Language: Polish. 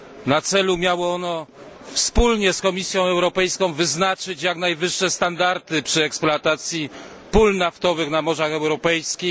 Na celu miało ono wspólnie z Komisją Europejską wyznaczyć jak najwyższe standardy przy eksploatacji pół naftowych na morzach europejskich.